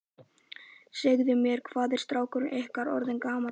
Segðu mér, hvað er strákurinn ykkar orðinn gamall?